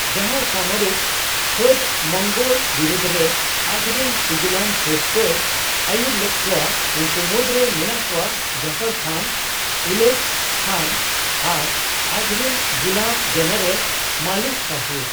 ᱡᱟᱦᱟᱸᱭ ᱥᱟᱢᱚᱨᱤᱠ ᱯᱷᱟᱹᱫ ᱢᱚᱝᱜᱳᱞ ᱵᱤᱨᱩᱫᱷ ᱨᱮ ᱟᱡᱨᱤᱱ ᱥᱤᱜᱤᱞᱟᱱ ᱯᱷᱟᱹᱫᱽ ᱠᱚᱭ ᱟᱹᱭᱩᱨ ᱞᱮᱫ ᱠᱚᱣᱟ ᱩᱱᱠᱩ ᱢᱩᱫᱽᱨᱮ ᱢᱮᱱᱟᱜ ᱠᱚᱣᱟ ᱡᱟᱯᱷᱚᱨ ᱠᱷᱟᱱ, ᱩᱞᱚᱜᱷ ᱠᱷᱟᱱ ᱟᱨ ᱟᱡᱨᱤᱱ ᱜᱩᱞᱟᱹᱢᱼᱡᱮᱱᱟᱨᱮᱞ ᱢᱟᱞᱤᱠ ᱠᱟᱯᱷᱩᱨ ᱾